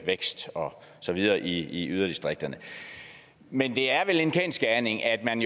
vækst og så videre i yderdistrikterne men det er vel en kendsgerning at man